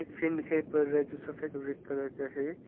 Fan है जो सफेद रेड कलर का है।